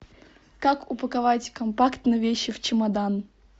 как упаковать компактно вещи в чемодан